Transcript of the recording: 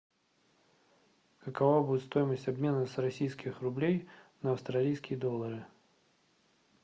какова будет стоимость обмена с российских рублей на австралийские доллары